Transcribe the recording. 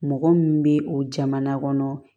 Mɔgɔ min bɛ o jamana kɔnɔ